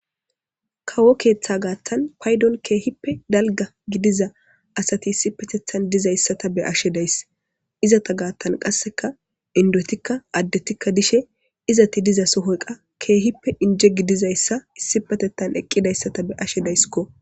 kawo keeththa gaattan paydon keehippe dalga gidiza asati issi patethan dizayssata be'ashe days izata gaattan qasseka indotikka addetikka dishe izati diza sohoy qa keehippe inje gidizayssa issipatettan eqqidayssata be'ashe dayskko